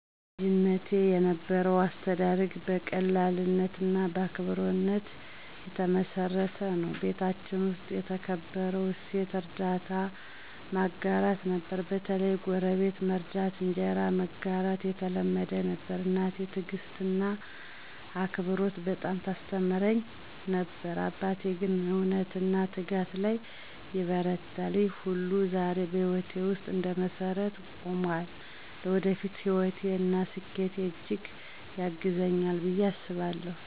በልጅነቴ የነበረው አስተዳደግ በቀላልነትና በአክብሮት የተመሰረተ ነበር። ቤታችን ውስጥ የተከበረው እሴት እርዳታና ማጋራት ነበር፤ በተለይ ጎረቤት መርዳትና እንጀራ መጋራት የተለመደ ነበር። እናቴ ትዕግስትንና አክብሮትን በጣም ታስተምረኝ ነበር፣ አባቴ ግን እውነትና ትጋት ላይ ይበረታል። ይህ ሁሉ ዛሬ በህይወቴ ውስጥ እንደ መሰረት ቆሞአል። ለወደፊት ህይወቴ እና ስኬቴ እጅግ ያግዘኛል ብየ አስባለሁ።